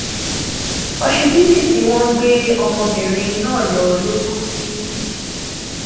òṣìbìtì tí wọn gbé ọmọbìnrin náà lọ ló kù sí